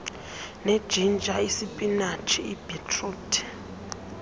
nejinja isipinatshi ibhitruthi